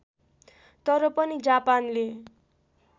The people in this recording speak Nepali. तर पनि जापानले